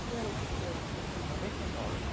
Que ano que foi esse último ano? Noventa e nove